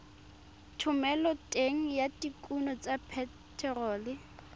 thomeloteng ya dikuno tsa phetherol